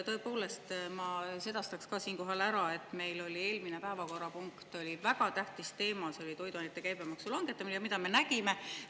Tõepoolest, ma sedastan ka siinkohal, et meil oli eelmises päevakorrapunktis väga tähtis teema, see oli toiduainete käibemaksu langetamine, aga mida me nägime?